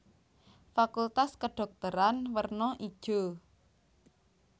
Fakultas Kedhokteran werna ijo